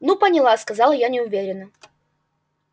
ну поняла сказала я неуверенно